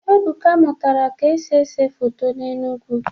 Ebuka mụtara ka esi ese foto n'Enugwu